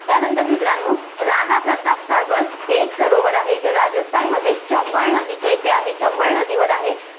त्यानंतर मित्रांनो, राणाप्रताप सागर हे एक सरोवर आहे, जे राजस्थानमध्ये चंबळ नदीच्या इथे आहे, चंबळ नदीवर आहे.